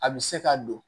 A bɛ se ka don